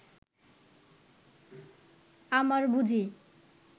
আমার বুঝি